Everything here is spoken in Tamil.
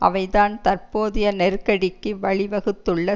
அவை தான் தற்போதைய நெருக்கடிக்கு வழிவகுத்துள்ள